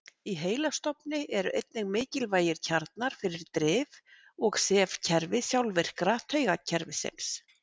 í heilastofni eru einnig mikilvægir kjarnar fyrir drif og sefkerfi sjálfvirka taugakerfisins